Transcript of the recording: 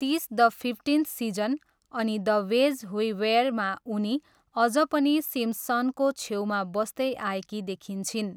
तिस the fifteenth season' अनि 'the way we were' मा उनी अझ पनि सिम्पसनको छेउमा बस्दै आएकी देखाइन्छिन्।